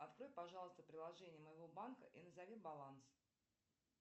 открой пожалуйста приложение моего банка и назови баланс